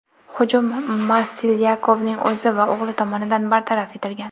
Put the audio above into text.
Hujum Maslyakovning o‘zi va o‘g‘li tomonidan bartaraf etilgan.